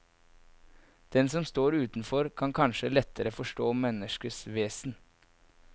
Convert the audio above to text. Den som står utenfor kan kanskje lettere forstå menneskers vesen.